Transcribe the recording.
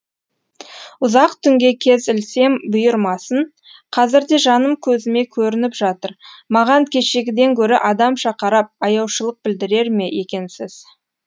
ұзақ түнге кез ілсем бұйырмасын қазір де жаным көзіме көрініп жатыр маған кешегіден гөрі адамша қарап аяушылық білдірер ме екенсіз